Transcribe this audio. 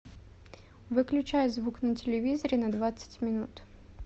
выключай звук на телевизоре на двадцать минут